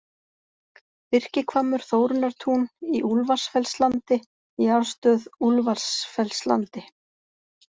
Birkihvammur, Þórunnartún, Í Úlfarsfellslandi, Jarðstöð Úlfarsfellslandi